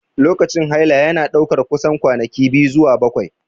Lokacin haila yana ɗaukar kusan kwanaki 2 zuwa 7.